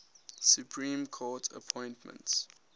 supreme court appointments